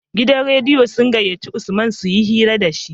Gidan rediyo sun gayyaci usman suyi hira dashi